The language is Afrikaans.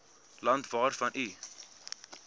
land waarvan u